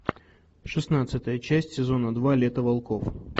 шестнадцатая часть сезона два лето волков